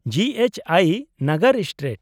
-ᱡᱤᱹ ᱮᱭᱤᱪᱹ ᱟᱭ ᱱᱟᱜᱟᱨ,****ᱥᱴᱨᱤᱴ, **